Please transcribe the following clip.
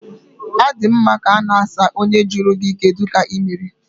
Adi m mma ka ana aza onye jụrụ gị kedụ ka ịmere?